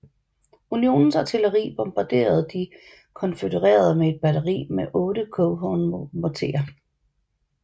Unionens artilleri bombarderede de konfødererede med et batteri med otte Coehorn morterer